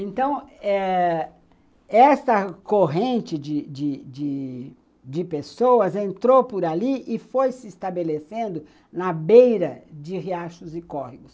Então eh, essa corrente de de de de pessoas entrou por ali e foi se estabelecendo na beira de riachos e córregos.